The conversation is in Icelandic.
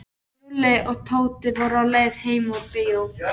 Lúlli og Tóti voru á leið heim úr bíó.